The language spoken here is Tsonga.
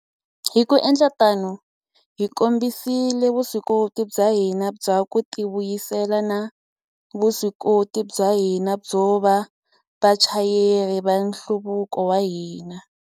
Hi ku endla tano, hi kombisile vuswikoti bya hina bya ku tivuyisela na vuswikoti bya hina byo va vachayeri va nhluvuko wa hina.